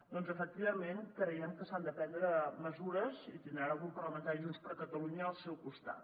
doncs efectivament creiem que s’han de prendre mesures i tindran al grup parlamentari de junts per catalunya al seu costat